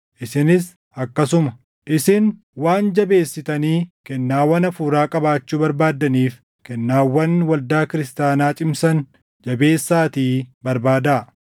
Isinis akkasuma. Isin waan jabeessitanii kennaawwan Hafuuraa qabaachuu barbaaddaniif, kennaawwan waldaa kiristaanaa cimsan jabeessaatii barbaadaa.